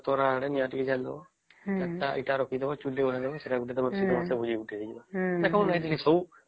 ତାର ଆଡେ ନିଆଁ ଟିକେ ଜାଳିଦେବା ୪ ଟା ଇଟା ରଖିଦବ ସେଟା ଗୋଟେ ଭୋଜି ଟେ ହେଇଯିବ